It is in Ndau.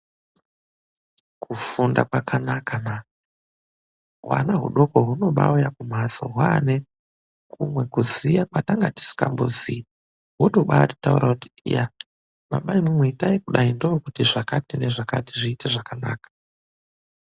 KUFUNDA KWAKANAKA MANI HUANA HUDOKO HUNOBAUYA KUNHATSO HWAANE KUMWE KUZIYA KWATANGA TISINGAMBOZII HWOTOBATAURA KUTI BABA IMWIMWI ITAI KUDAI NDOKUTIZVAKATI NEZVAKATI ZVIITE ZVAKANAKA